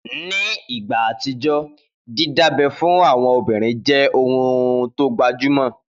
Ni ìgbà àtijọ́, dídábẹ́ fún àwọn obìnrin jẹ́ ohun tó gbajúmọ̀